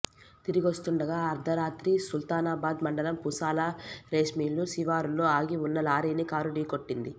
తిరిగొస్తుండగా అర్ధరా త్రి సుల్తానాబాద్ మండలం పూసాల రైస్మిల్లు శివారులో ఆగి ఉన్న లారీని కారు ఢకొీట్టింది